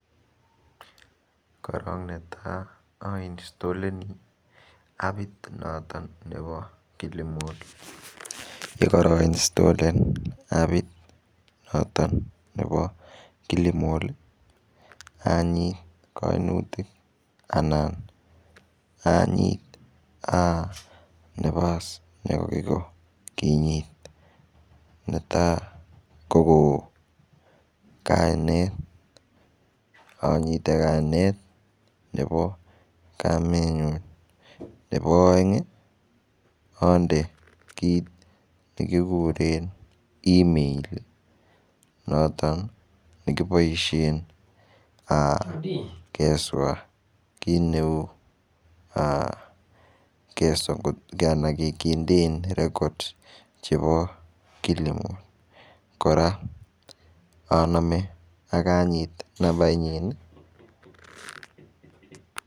Korok netai ainstoleni appit noton nebo Kilimal. Yekara instollen appit noton nebo Kilimal, anyit kainutik anan anyit um nebo kinyit. Netai koko kainet. Anyite kainet nebo kamet nyun. Nebo aeng, ande it nekikuren email. Noton nekiboisien um kesor kir neu um kesokotke anan kindein records chebo Kilimal. Kora, aname akanyit nambait nyin,